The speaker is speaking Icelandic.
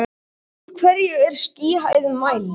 úr hverju er skýjahæð mæld